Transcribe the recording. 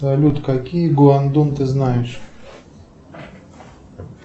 салют какие гуандун ты знаешь